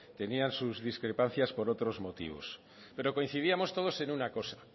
tenían sus discrepancias por otros motivos pero coincidíamos todos en una cosa